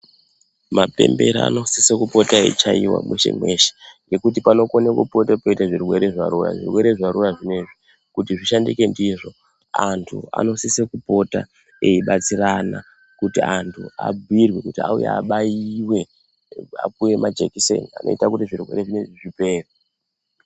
Mapembera anosise kupota echichaiwa meshe meshe nokuti panogone kupota peiita zvorwere zvarwariwa, kuti zvoshandike ndizvo, antu anosise kupota eibatsirana kuti antu abhuyirwe kuti auye abayiwe apiwe majekiseni anoita kuti zvirwere zvino izvi zvipere.